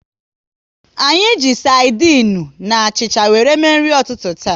Anyị ji sardinu na achịcha wéré mee nri ụtụtụ taa